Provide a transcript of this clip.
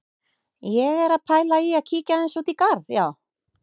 Ég er að pæla í að kíkja aðeins út í garð, já.